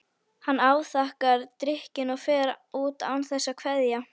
Hann afþakkar drykkinn og fer út án þess að kveðja.